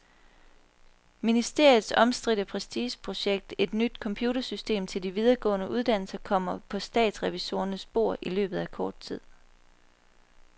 Ministeriets omstridte prestigeprojekt, et nyt computersystem til de videregående uddannelser, kommer på statsrevisorernes bord i løbet af kort tid.